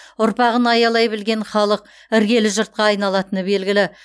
ұрпағын аялай білген халық іргелі жұртқа айналатыны белгілі